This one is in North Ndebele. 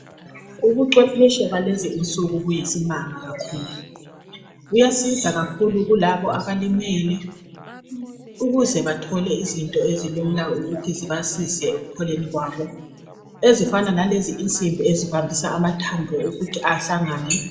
Ubucwephetshe balezi insuku buyisimanga kakhulu. Buyasiza kakhulu kulabo abalimele ukuze bathole izinto ezilula ukuthi zibasize ekupholeni kwabo ezifana lalezi insimbi ezibambisa amathambo ukuthi ahlangane.